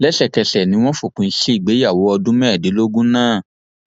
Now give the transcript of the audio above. lẹsẹkẹsẹ ni wọn fòpin sí ìgbéyàwó ọdún mẹẹẹdógún náà